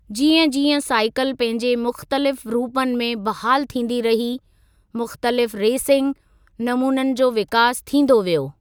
जीअं जीअं साइकिल पंहिंजे मुख़्तलिफ़ रूपनि में बहालु थींदी रही, मुख़्तलिफ़ रेसिंग नमूननि जो विकास थींदो वियो।